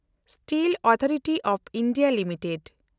steel authority of India limited